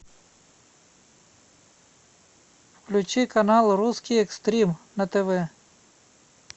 включи канал русский экстрим на тв